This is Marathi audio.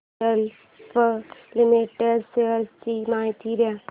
डीएलएफ लिमिटेड शेअर्स ची माहिती दे